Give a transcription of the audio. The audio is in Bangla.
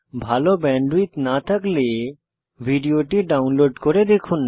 ভাল ব্যান্ডউইডথ না থাকলে ভিডিওটি ডাউনলোড করে দেখুন